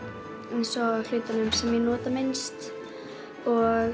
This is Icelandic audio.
eins og hlutunum sem ég nota minnst og